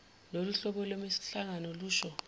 loluhlobo lwemihlangano lusho